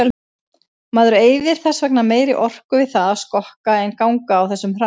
Maður eyðir þess vegna meiri orku við það að skokka en ganga á þessum hraða.